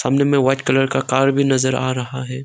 सामने में white colour का कार भी नजर आ रहा है।